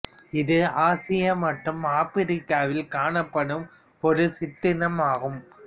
இது ஆசியா மற்றும் ஆப்பிரிக்காவில் காணப்படும் ஒரு சிற்றினம் ஆகும்